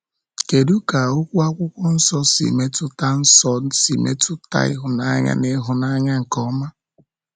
Kedu ka okwu Akwụkwọ Nsọ si metụta Nsọ si metụta ịhụnanya na ịhụnanya nke ọma?